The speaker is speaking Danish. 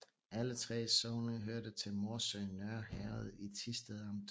Alle 3 sogne hørte til Morsø Nørre Herred i Thisted Amt